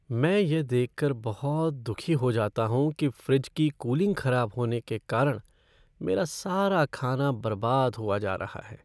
मैं यह देख कर बहुत दुखी हो जाता हूँ कि फ़्रिज की कूलिंग खराब होने के कारण मेरा सारा खाना बर्बाद हुआ जा रहा है।